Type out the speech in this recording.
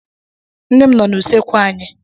Nne m nọ n'usekwu anyị.